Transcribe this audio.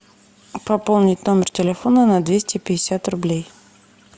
пополнить номер телефона на двести пятьдесят рублей